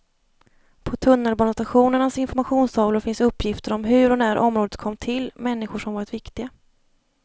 På tunnelbanestationernas informationstavlor finns uppgifter om hur och när området kom till, människor som varit viktiga.